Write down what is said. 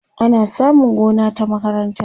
ana samun gona ta makaranta